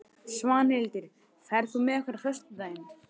Svanhildur, ferð þú með okkur á föstudaginn?